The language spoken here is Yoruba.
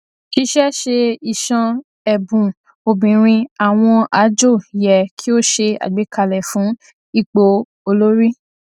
ṣìṣẹ ṣé ìṣàn ẹbùn obìnrin àwọn àjò yẹ kí o ṣé àgbékalẹ fún ipò olórí